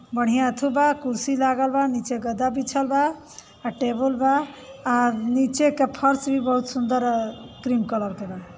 बढ़ियां एथू बा। कुर्सी लागल बा नीचे गद्दा बिछल बा आ टेबल बा आ नीचे के फर्श भी बहुत सुंदर क्रीम कलर के बा।